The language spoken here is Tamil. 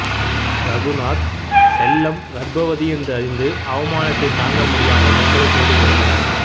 ரகுநாத் செல்லம் கர்ப்பவதி என்று அறிந்து அவமானத்தை தாங்க முடியாமல் தற்கொலை செய்து கொள்கிறான்